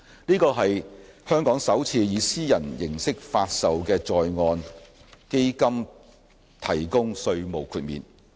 這是香港首次向以私人形式發售的在岸基金提供稅務豁免。